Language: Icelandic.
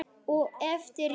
og eftir jól.